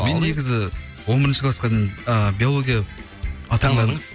мен негізі он бірінші классқа дейін ыыы биология